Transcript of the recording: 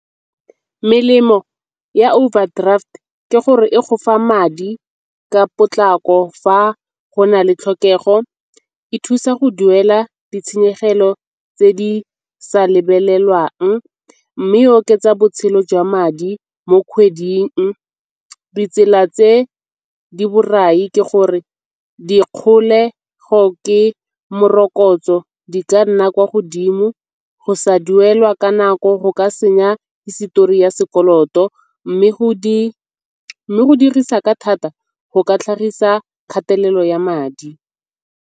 Melemo ya overdraft ke gore e gofa madi ka potlako fa go na le tlhokego. E thusa go duela ditshenyegelo tse di sa lebelelwang mme e oketsa botshelo jwa madi mo kgweding. Ditsela tse di borai ke gore dikgolego ke morokotso di ka nna kwa godimo, go sa duelwa ka nako go ka senya hisetori ya sekoloto mme go dirisa ka thata go ka tlhagisa kgatelelo ya madi.